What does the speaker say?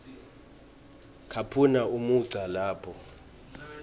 caphuna umugca lapho